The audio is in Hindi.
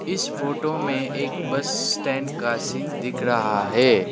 इस फोटो में एक बस स्टैंड का सीन दिख रहा है।